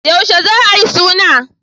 Yaushe za a yi suna?